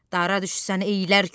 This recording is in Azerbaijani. Dara düşsən əylər kömək.